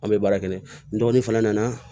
An bɛ baara kɛ n'a ye n dɔgɔnin fana nana